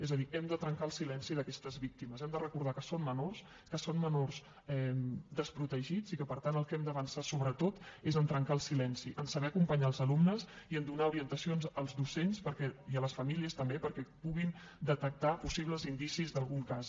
és a dir hem de trencar el silenci d’aquestes víctimes hem de recordar que són menors que són menors desprotegits i que per tant en el que hem d’avançar sobretot és a trencar el silenci a saber acompanyar els alumnes i a donar orientacions als docents i a les famílies també perquè puguin detectar possibles indicis d’algun cas